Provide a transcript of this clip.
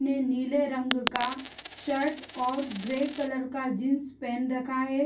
ने नील रंग का शर्ट और ग्रे कलर का जींस पहन रखा है |